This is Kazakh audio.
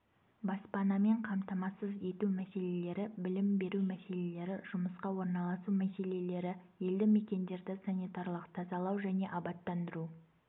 баспанамен қамтамасыз ету мәселелері білім беру мәселелері жұмысқа орналасу мәселелері елді мекендерді санитарлық тазалау және абаттандыру